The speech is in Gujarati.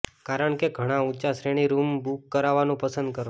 કારણ કે ઘણા ઊંચા શ્રેણી રૂમ બુક કરવાનું પસંદ કરો